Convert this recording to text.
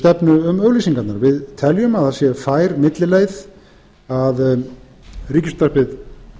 stefnu um auglýsingarnar við teljum að það sé fær millileið að ríkisútvarpið